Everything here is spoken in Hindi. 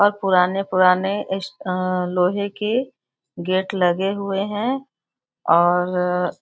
और पुराने-पुराने इस अह लोहे के गेट लगे हुए हैं और --